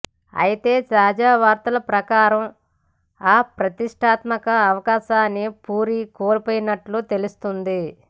అయితే తాజా వార్తల ప్రకారం ఆ ప్రతిష్ఠాత్మక అవకాశాన్ని పూరి కోల్పోయినట్లు తెలుస్తోంది